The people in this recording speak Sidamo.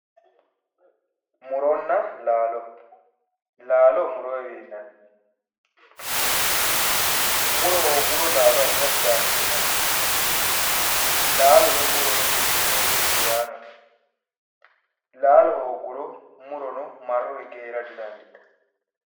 Muronna laalo, laalo murowinni afi'neemmo ,muro hoogguro laalo afira didandiinanni, laalono murono mimmittoho irkiraanote, laalo hoogguro murono marro higge heera didandiittanno.